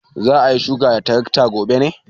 Za a yi shuka da tarakta gobe ne?